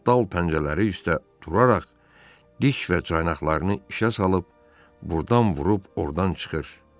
o dal pəncələri üstə duraraq diş və caynaqlarını işə salıb burdan vurub ordan çıxır.